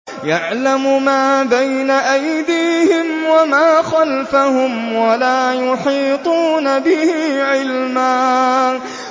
يَعْلَمُ مَا بَيْنَ أَيْدِيهِمْ وَمَا خَلْفَهُمْ وَلَا يُحِيطُونَ بِهِ عِلْمًا